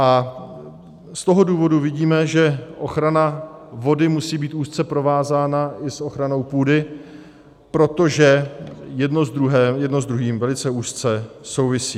A z toho důvodu vidíme, že ochrana vody musí být úzce provázána i s ochranou půdy, protože jedno s druhým velice úzce souvisí.